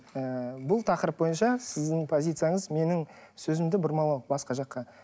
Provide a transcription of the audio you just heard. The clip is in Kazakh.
ы бұл тақырып бойынша сіздің позицияңыз менің сөзімді бұрмалау басқа жаққа